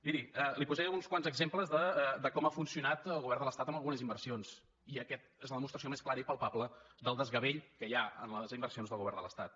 miri li posaré uns quants exemples de com ha funcionat el govern de l’estat en algunes inversions i aquesta és la demostració més clara i palpable del desgavell que hi ha en les inversions del govern de l’estat